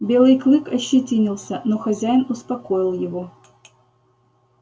белый клык ощетинился но хозяин успокоил его